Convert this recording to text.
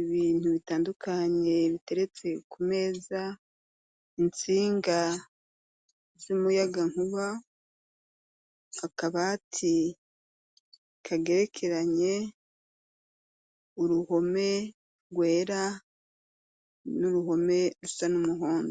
ibintu bitandukanye biteretse ku meza, intsinga z'umuyagankuba, akabati kagerekeranye, uruhome rwera n'uruhome rusa n'umuhondo.